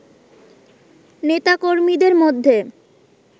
নেতা কর্মীদের মধ্যে